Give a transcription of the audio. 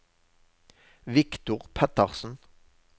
Viktor Pettersen